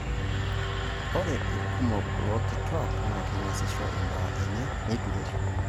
Ore irkumok loorkituak naa keng'ashisho imbaa enye neitureisho.